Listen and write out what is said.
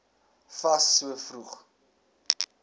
fas so vroeg